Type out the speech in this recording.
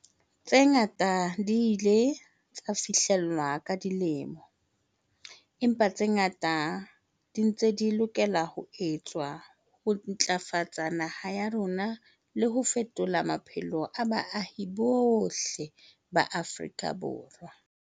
Tse ngata di ile tsa fihlellwa ka dilemo, empa tse ngata di ntse di lokela ho etswa ho ntlafatsa naha ya rona le ho fetola maphelo a baahi bohle ba Afrika Borwa.